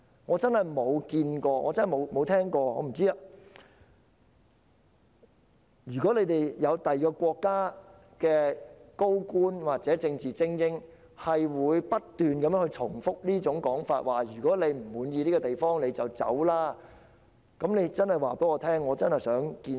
我真的想知道有否任何其他國家的高官或政治精英會不斷重複這種說法，要求不滿意這個地方的人離開，如果有便請告訴我，我真的很想見識。